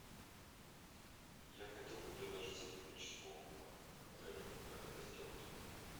я хотел бы предложить сотрудничество отелю как это сделать